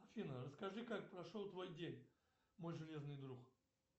афина расскажи как прошел твой день мой железный друг